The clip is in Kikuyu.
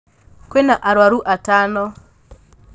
Kwĩna arwaru atano.